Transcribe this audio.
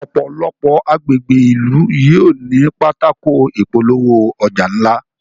òpòlopò agbègbè ilú yóò ní Pátákó ìpolówó-ọjà ńlá